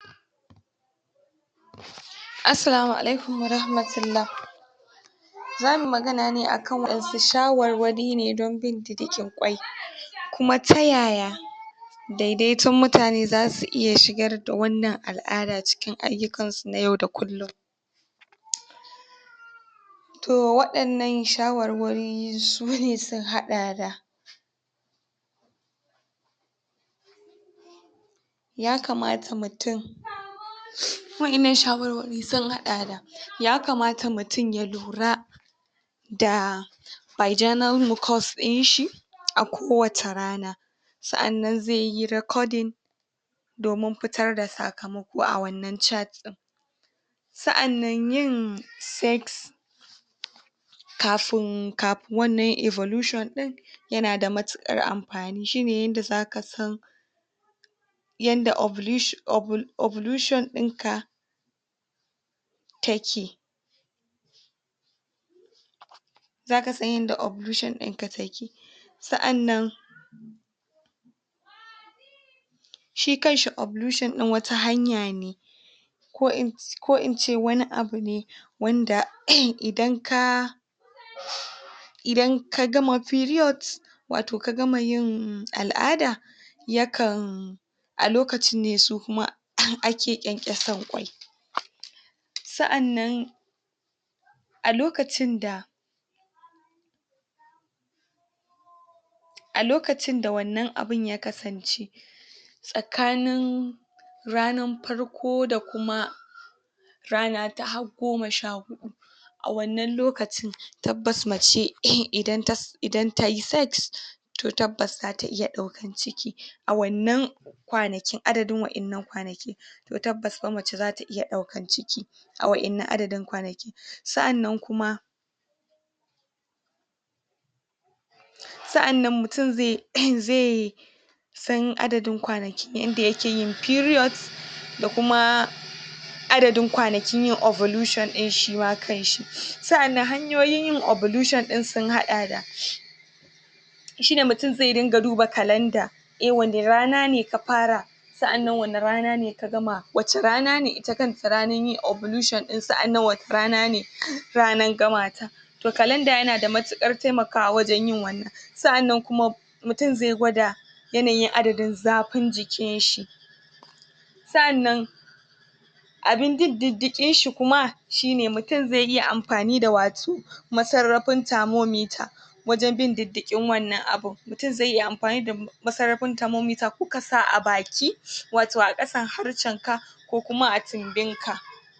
Wannan hoton yana nuna Wani babban filin gona mai yalwa da shukar daji mai launin kore wanda ke ɗauke da wata babbar mota ko injin noma dake aiki a cikin gonar hoton yana nuna irin yanda noma ya canja daga gargajiya zuwa zamani inda ake anfani da fasaha domin bunkasa harka noma da inganta yawan anfanin gona yanayin hoton a cikin hoton ana iya ganin Wani fili mai fadi wanda ke ɗaukeda shuka mai kyau wannan na iya zama gonar hatsi irin su alkama ko shinkafa ko masara, a tsakiyar gonar Anga wata babbar mota wadda ake anfani da ita wajen feshi ko sarrafa shukar Muna iya hango hayaki ko Wani abu mai bayyana Muna iya hango hayaki ko Wani abu mai bayyana yana fitowa daga motar wanda ke nuna cewa ana yin feshi da Wani sinadari ne ko ruwa domin inganta shukar a cikin nesa a cikin nesa akwai bishiyoyi dake iyakar gonan wanda ke bada kariya daga iska ko kuma yana iya kasancewa shinge daga muhalli na waje. Fasahar zamani a harkar noma hoton yana nuna irin yanda fasaha ke taka mahimmiyar rawa a harkan noma a da manoma na amfani da hannu wajen fesa magunguna ko sarrafa shuka amma yanzu ansamu cigaba ta anfani da manyan injina masu saurin aiki da rage wahalan noma Waɗannan injina suna taimakawa wajen fesa magunguna domin kare anfanin gona daga kwari da cututtuka ko Kuma shayar da shuka da ruwan da take bukata a wasu kasashe da ake cigaba da harkan noma ana anfani da irin wadannan injina domin rage yawan aiki da Kuma tabbatarda ingancin anfanin gona wannan yana taimakawa wajen kara yawan girbi rage barnar anfanin gona da kuma inganta anfanin da zaʼa samu Anfanin irin wannan noma anfani da manyan injinan noma yanada faʼidodi da dama na farko yana taimakawa wajen rage wahalan aiki inda injina ke iya aikinda mutane dayawa ke bukatan yi a cikin ƙanƙanin lokaci na biyu yana taimakawa wajen rage ɓarnan kayayyakin noma ta hanyan anfani da adadin magani ko taki daya dace haka Kuma yana bada damar samun noman zamani wanda ke bada damar yawan anfanin gona da ingancin kayayyakin da ake nomawa.